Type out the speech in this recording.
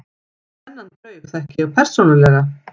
Þennan draug þekki ég persónulega.